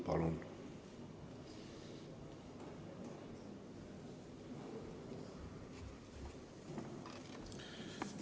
Palun!